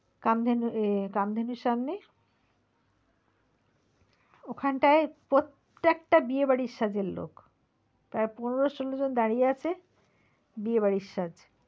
কামধেনু আহ কামধেনুর সামনে ওখান টায় প্রত্যেকটা বিয়ে বাড়ির সাজের লোক